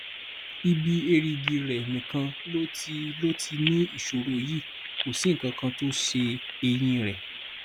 ibi èrìgì rẹ nìkan ló ti ló ti ní ìṣòro yìí kò sí nǹkan tó ṣe eyín rẹ